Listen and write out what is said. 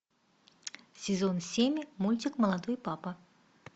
сезон семь мультик молодой папа